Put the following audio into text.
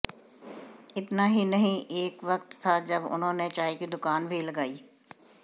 इतना ही नहीं एक वक्त था जब उन्होंने चाय की दुकान भी लगाई